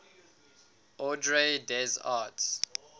ordre des arts